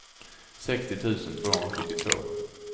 sextio tusen tvåhundrasjuttiotvå